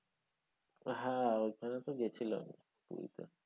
হ্যাঁ ওখানে তো গেছিলাম পুরিতে।